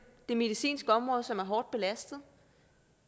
det medicinske område som er hårdt belastet